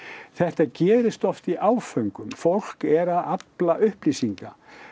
þetta gerist oft í áföngum fólk er að afla upplýsinga